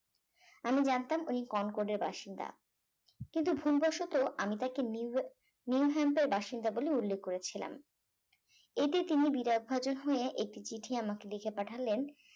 আমি জানতাম উনি কনকর্ড এর বাসিন্দা কিন্তু ভুলবশত আমি তাকে নিউ নিউহ্যামটের বাসিন্দা বলে উল্লেখ করেছিলাম এতে তিনি বিরাট ভাঁজ হয়ে একটি চিঠি আমাকে লিখে পাঠালেন